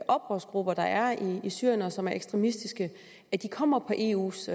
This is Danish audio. oprørsgrupper der er i syrien og som er ekstremistiske kommer på eus